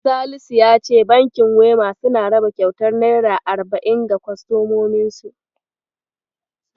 Salisu ya ce bankin Wema suna raba kyautar naira arba'in ga kostomominsu.